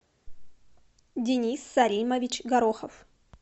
денис саримович горохов